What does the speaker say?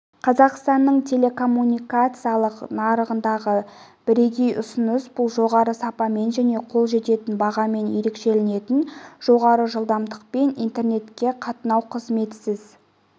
қазақстанның телекоммуникациялық нарығындағы бірегей ұсыныс бұл жоғары сапамен және қол жететін бағамен ерекшеленетін жоғары жылдамдықпен интернетке қатынау қызметісіз